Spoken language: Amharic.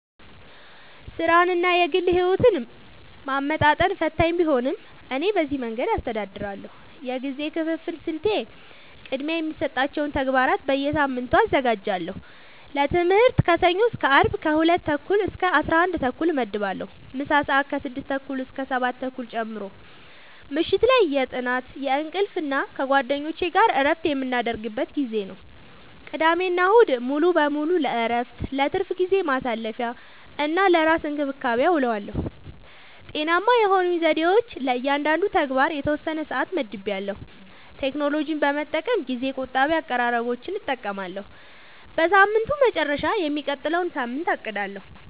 ሥራንና የግል ሕይወትን ማመጣጠን ፈታኝ ቢሆንም፣ እኔ በዚህ መንገድ አስተዳድራለሁ፦ የጊዜ ክፍፍል ስልቴ፦ · ቅድሚያ የሚሰጣቸውን ተግባራት በየሳምንቱ አዘጋጃለሁ · ለትምህርት ከሰኞ እስከ አርብ ከ 2:30-11:30 እመድባለሁ (ምሳ ሰአት 6:30-7:30 ጨምሮ) · ምሽት ላይ የጥናት፣ የእንቅልፍ እና ከጓደኞች ጋር እረፍት የምናደርግበት ጊዜ ነው። · ቅዳሜና እሁድ ሙሉ በሙሉ ለእረፍት፣ ለትርፍ ጊዜ ማሳለፊ፣ እና ለራስ እንክብካቤ አዉለዋለሁ። ውጤታማ የሆኑኝ ዘዴዎች፦ · ለእያንዳንዱ ተግባር የተወሰነ ሰዓት መድቤያለሁ · ቴክኖሎጂን በመጠቀም ጊዜ ቆጣቢ አቀራረቦችን እጠቀማለሁ · በሳምንቱ መጨረሻ የሚቀጥለውን ሳምንት አቅዳለሁ